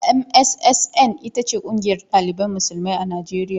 MSSN ita ce kungiyar dalibai musulmai a najeriya.